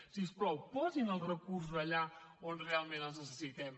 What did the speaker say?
si us plau posin els recursos allà on realment els necessitem